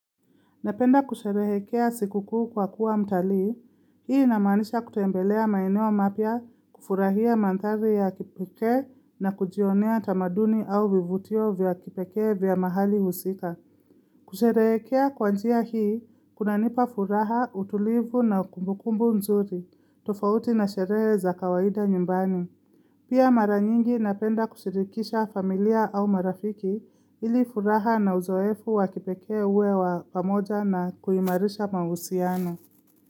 Napenda kusherehekea sikukuu kwa kuwa mtali, hii inamanisha kutembelea maeneo mapya kufurahia madhari ya kipeke na kujionea tamaduni au vivutio vya kipeke vya mahali husika. Kusherehekea kwanjia hii, kuna nipa furaha, utulivu na kumbukumbu nzuri, tofauti na sherehe za kawaida nyumbani. Pia mara nyingi napenda kushirikisha familia au marafiki ili furaha na uzoefu wakipeke uwe wa pamoja na kuimarisha mahusiano.